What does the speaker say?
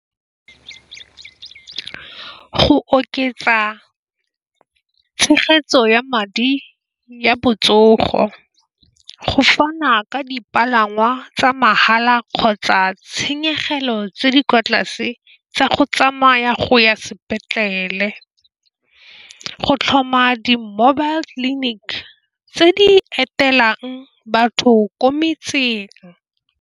Go oketsa tshegetso ya madi ya botsogo go fana ka dipalangwa tsa mahala kgotsa tshenyegelo tse di kwa tlase tsa go tsamaya go ya sepetlele, go tlhoma di-mobile clinic tse di etelang batho ko metseng.